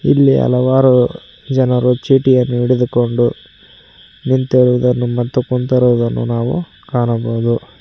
ಇಲ್ಲಿ ಹಲವಾರು ಜನರು ಚೀಟಿಯನ್ನು ಹಿಡಿದುಕೊಂಡು ನಿಂತಿರುವುದನ್ನು ಮತ್ತು ಕುಂತಿರುವುದನ್ನು ನಾವು ಕಾಣಬಹುದು.